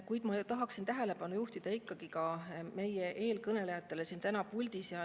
Kuid ma tahan tähelepanu juhtida ka eelkõnelejale täna siin puldis.